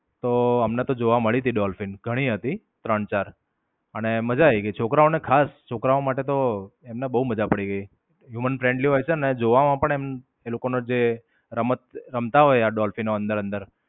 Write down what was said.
તો અમને તો જોવા મળી હતી ડોલ્ફિન. ઘણી હતી, ત્રણ-ચાર. ને માજા આયી ગઈ છોકરાઓને ખાસ છોકરાઓ માટે તો એમને બોવ મજા પડી ગઈ. human friendly હોય છે ને જોવામાં પણ એ લોકો ના જે રમત રમતા હોય આ ડોલ્ફિનો અંદર અંદર.